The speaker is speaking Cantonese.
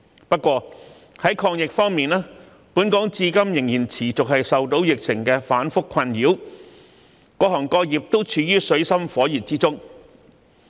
不過，在抗疫方面，本港至今仍然持續受到疫情反覆的困擾，各行各業都處於水深火熱之中。